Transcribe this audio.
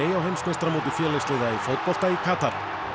á heimsmeistaramóti félagsliða í fótbolta í Katar